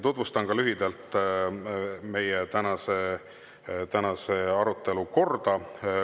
Tutvustan lühidalt meie tänase arutelu korda.